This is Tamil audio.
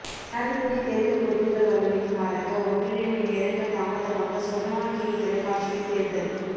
ஜனாதிபதித் தேர்தல் முடிபுகள் வழமைக்கு மாறாக ஒன்றரை மணி நேரங்கள் தாமதமாக சொர்ணவாகினி தொலைக்காட்சியில் தேர்தல்